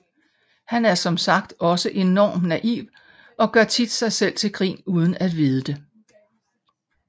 Han er som sagt også enormt naiv og gør tit sig selv til grin uden at vide det